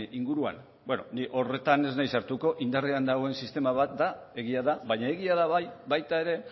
inguruan beno ni horretan ez naiz sartuko indarrean dagoen sistema bat da egia da baina egia da bai baita ere